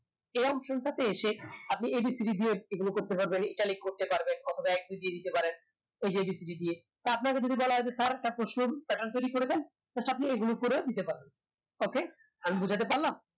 same আপনি abcd দিয়ে এগুলোকে italic করতে পারবেন অথবা এক দুই তিন দিতে পারেন ঐযে abcd দিয়ে তা আপনাকে যদি বলা হয় যে sir প্রশ্নোর status তৈরী করে দে বাশ আপনি এগুলো করে দিতে পারেন okay আমি বুঝতে পারলাম